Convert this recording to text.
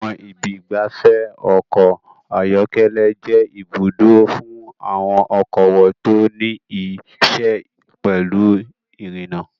Àwọn ibi ìgbafẹ́ ọkọ̀ ayọ́kẹ́lẹ́ jẹ́ ibùdó fún àwọn okòwò tó ní í ṣe pẹ̀lú irinna.